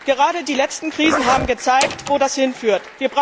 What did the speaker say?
Gerade die letzten Krisen haben gezeigt, wo das hinführt.